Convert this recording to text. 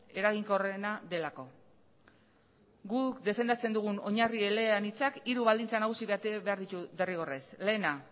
eraginkorrena delako guk defendatzen dugun oinarri eleanitzak hiru baldintza nagusi bete behar ditu derrigorrez lehena